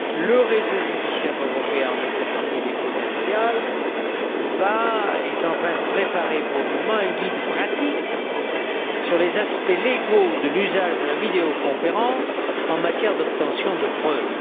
Le réseau judiciaire européen en matière civile et commerciale prépare, pour le moment, un guide pratique sur les aspects légaux de l'usage de la vidéoconférence en matière d'obtention de preuves.